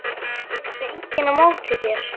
Tekur enginn á móti þér?